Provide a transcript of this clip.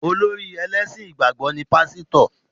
Olórí ẹlẹ́sìn ìgbàgbọ́ ni Pásítọ̀